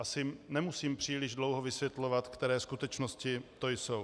Asi nemusím příliš dlouho vysvětlovat, které skutečnosti to jsou.